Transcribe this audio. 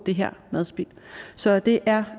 madspild så det er